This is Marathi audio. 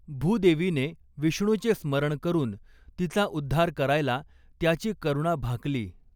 भूदेवीने विष्णूचे स्मरण करुन, तिचा उद्धार करायला त्याची करुणा भाकली.